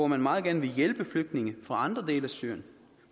man meget gerne vil hjælpe flygtninge fra andre dele af syrien